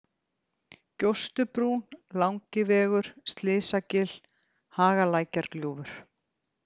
Gjóstubrún, Langivegur, Slysagil, Hagalækjargljúfur